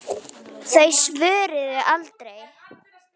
Þau svöruðu aldrei.